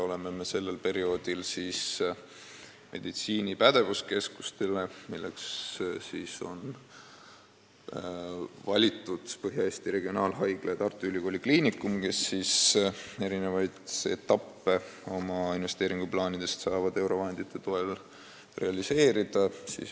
Oleme sellel perioodil saanud raha suunata meditsiini pädevuskeskustele, milleks on valitud Põhja-Eesti Regionaalhaigla ja Tartu Ülikooli Kliinikum, kes saavad oma investeeringuplaanide eri etappe eurovahendite toel realiseerida.